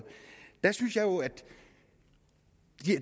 jeg synes at